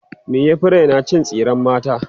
me ya Fi Raina cin tsiran mata